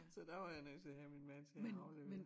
Så der var jeg nødt til at have min mand til at aflevere